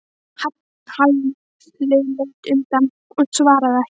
Halli leit undan og svaraði ekki.